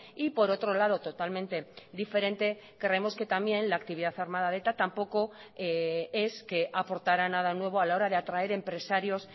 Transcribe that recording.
y por otro lado totalmente diferente creemos que también la actividad armada de eta tampoco es que aportara nada nuevo a la hora de atraer empresarios